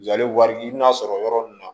Jalen wari i bɛna sɔrɔ yɔrɔ min na